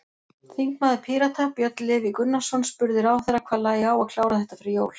Þingmaður Pírata, Björn Leví Gunnarsson, spurði ráðherra hvað lægi á að klára þetta fyrir jól?